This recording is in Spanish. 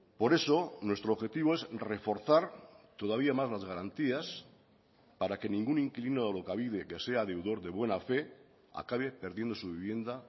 por eso nuestro objetivo es reforzar todavía más las garantías para que ningún inquilino de alokabide que sea deudor de buena fe acabe perdiendo su vivienda